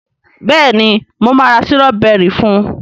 béèni mo ma ra Sírọ́bẹ́rì fún.